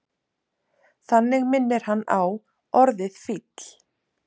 Þannig minnir hann á orðið fíll.